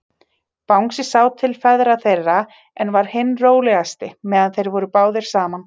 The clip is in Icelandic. Bangsi sá til ferða þeirra, en var hinn rólegasti, meðan þeir voru báðir saman.